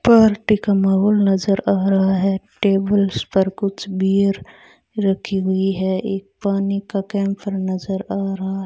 party का माहौल नजर आ रहा है टेबल्स पर कुछ बियर रखी हुई है एक पानी का कैंपर नजर आ रहा --